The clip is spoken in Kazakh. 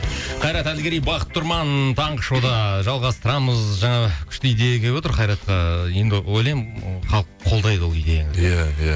қайрат әділгерей бақыт тұрман таңғы шоуда жалғастырамыз жаңа күшті идея келіп отыр қайратқа енді ойлаймын ы халық қолдайды ол идеяны иә иә